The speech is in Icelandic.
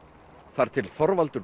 þar til Þorvaldur